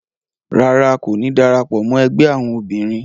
Ràrá, Ko ní darapọ̀ mọ ẹgbẹ awọn obìnrin